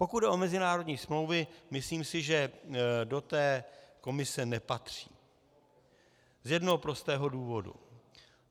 Pokud jde o mezinárodní smlouvy, myslím si, že do té komise nepatří z jednoho prostého důvodu.